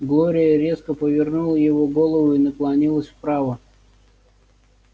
глория резко повернула его голову и наклонилась вправо